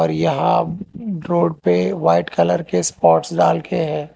और यहां रोड पे वाइट कलर के स्पॉट्स डालके है।